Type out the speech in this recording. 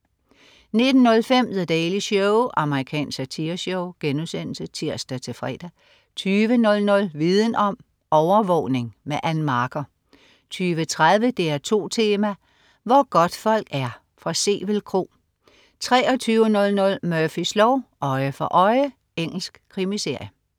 19.05 The Daily Show. Amerikansk satireshow* (tirs-fre) 20.00 Viden om: Overvågning. Ann Marker 20.30 DR2 Tema: Hvor godtfolk er. Sevel Kro 23.00 Murphys lov: Øje for øje. Engelsk krimiserie